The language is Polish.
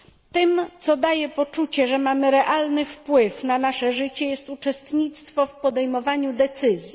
Tym, co daje poczucie, że mamy realny wpływ na nasze życie, jest uczestnictwo w podejmowaniu decyzji.